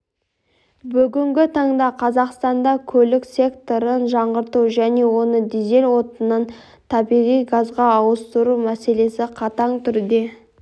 бүгінгі таңда қазақстанда көлік секторын жаңғырту және оны дизель отынынан табиғи газға ауыстыру мәселесі қатаң түрде